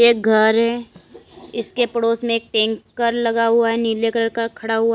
घर है इसके पड़ोस में एक टैंकर लगा हुआ है नीले कलर का खड़ा हुआ--